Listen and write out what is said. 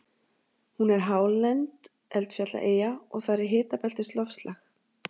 Hún er hálend eldfjallaeyja og þar er hitabeltisloftslag.